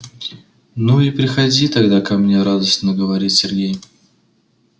ну и приходи тогда ко мне радостно говорит сергей